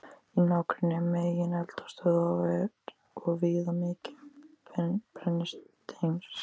Í nágrenni megineldstöðva er og víða mikið um brennisteinskís.